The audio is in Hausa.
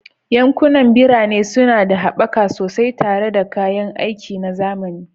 Yankunan birane suna da haɓaka sosai tare da kayan aiki na zamani